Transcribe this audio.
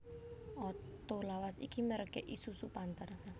Oto lawas iki merk e Isuzu Panther